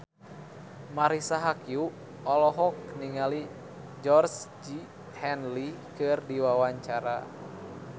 Marisa Haque olohok ningali Georgie Henley keur diwawancara